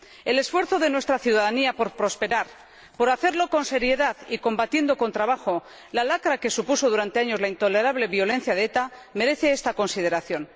El esfuerzo de nuestra ciudadanía por prosperar, por hacerlo con seriedad y combatiendo con trabajo la lacra que supuso durante años la intolerable violencia de ETA merece esta consideración.